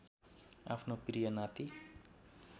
आफ्नो प्रिय नाती